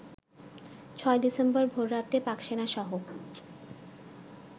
৬ ডিসেম্বর ভোররাতে পাকসেনাসহ